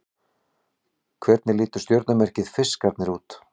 Hvernig lítur stjörnumerkið Fiskarnir út?